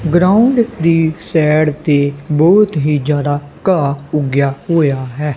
Ground ਦੀ side ਤੇ ਬਹੁਤ ਹੀ ਜਿਆਦਾ ਘਾਹ ਉਗਿਆ ਹੋਇਆ ਹੈ।